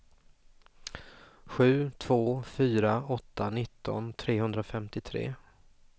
sju två fyra åtta nitton trehundrafemtiotre